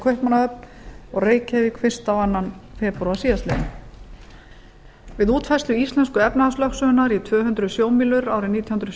kaupmannahöfn og reykjavík fyrstu og annan febrúar síðastliðinn við útfærslu íslensku efnahagslögsögunnar í tvö hundruð sjómílur árið nítján hundruð